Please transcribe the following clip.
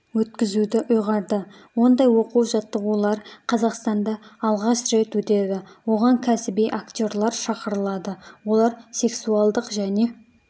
өткізуді ұйғарды ондай оқу-жаттығулар қазақстанда алғаш рет өтеді оған кәсіби актерлар шақырылады олар сексуалдық және